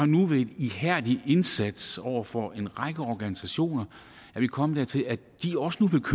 nu ved en ihærdig indsats over for en række organisationer kommet dertil at de også nu